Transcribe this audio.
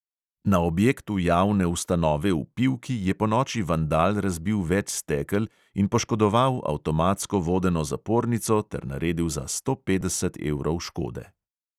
Na objektu javne ustanove v pivki je ponoči vandal razbil več stekel in poškodoval avtomatsko vodeno zapornico ter naredil za sto petdeset evrov škode.